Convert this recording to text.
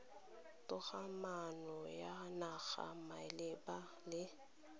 togamaano ya naga malebana le